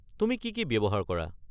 তুমি কি কি ব্যৱহাৰ কৰা?